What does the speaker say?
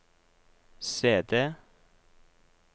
CD